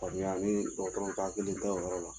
Faamuya ni dɔgɔtɔrɔw ka hakili tɛ o yɔrɔ la